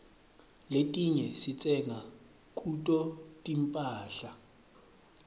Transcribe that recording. letinye sitsenga kuto tinphahla